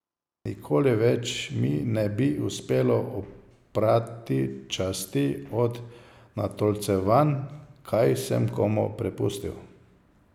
Nikoli več mi ne bi uspelo oprati časti od natolcevanj, kaj sem komu prepustil.